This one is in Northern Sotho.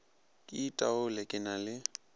ke itaole ke na le